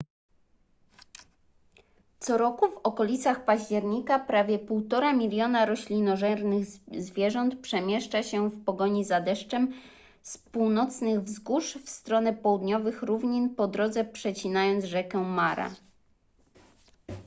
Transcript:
co roku w okolicach października prawie 1,5 miliona roślinożernych zwierząt przemieszcza się w pogoni za deszczem z północnych wzgórz w stronę południowych równin po drodze przecinając rzekę mara